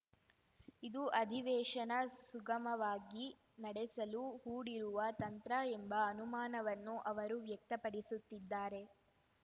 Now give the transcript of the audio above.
ಇದು ಅಧಿವೇಶನ ಸುಗಮವಾಗಿ ನಡೆಸಲು ಹೂಡಿರುವ ತಂತ್ರ ಎಂಬ ಅನುಮಾನವನ್ನು ಅವರು ವ್ಯಕ್ತಪಡಿಸುತ್ತಿದ್ದಾರೆ